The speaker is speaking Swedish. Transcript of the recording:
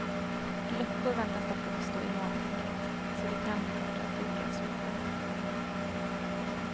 Luckor väntas dock uppstå i molntäcket, så det kan bli kortare perioder av solsken.